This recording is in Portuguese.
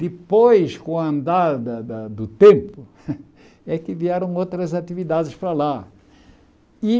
Depois, com a andada da do tempo, é que vieram outras atividades para lá.